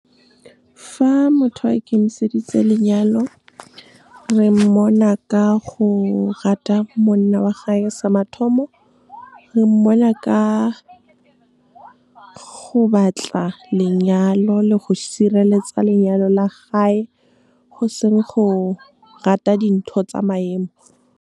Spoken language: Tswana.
Fa motho a ikemiseditse lenyalo, re mmona ka go rata monna wa hae, sa mathomo. Re mmona ka go batla lenyalo le go sireletsa lenyalo la hae, go seng go rata dintho tsa maemo. Fa motho a ikemiseditse lenyalo, re mmona ka go rata monna wa hae, sa mathomo. Re mmona ka go batla lenyalo le go sireletsa lenyalo la hae, go seng go rata dintho tsa maemo.